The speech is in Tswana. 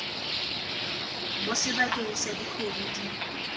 mo sebakeng sa dikgwedi di